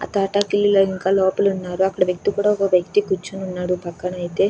ఆ తాత కి ఇల్లు ఇంకా లోపల ఉన్నారు అక్కడ వ్యక్తి కూడా ఒక వ్యక్తి కూర్చుని ఉన్నాడు పక్కనే ఐతే.